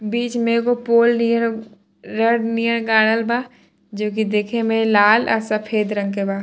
बीच में एगो पोल नियर रॉड नियर गाड़ल बा जो की देखे में लाल और सफेद रंग के बा।